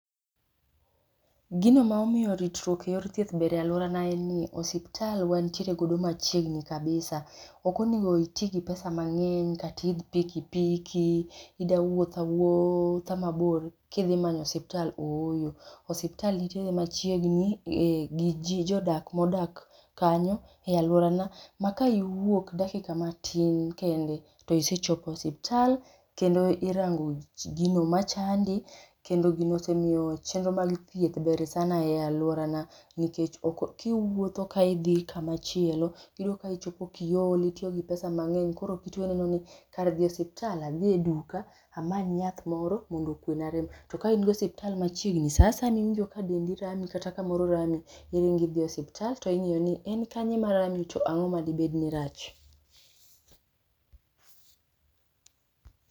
Gino ma omiyo ritruok e yor thieth ber e alworana en ni osiptal wanitiere godo machiegni kabisa. Ok onego iti gi pesa mang'eny, kata iidh pikipiki, ida wuotho awuotha mabor kidhi manyo osiptal ooyo. Osiptal nitiere machiegni gi jodak modak kanyo e alworana, ma ka iwuok dakika matin kende to isechopo e osiptal kendo irango gino machandi, kendo gino osemiyo chenro mag thieth ber sana e alworana, nikech kiwuotho ka idhi kamachielo, iyudo ka ichopo kiol, itiyo gi pesa mang'eny. Koro jotuwo neno ni kar dhi e osiptal adhi e duka amany yath moro mondo okuwena rem. To ka in gi osiptal machiegni, sa asaya miwinjo ka dendi rami kata kamoro rami, ring idhi e osiptal to ing'iyo ni en kanye marami to ang'o madibed ni rach.